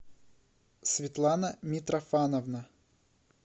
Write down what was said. светлана митрофановна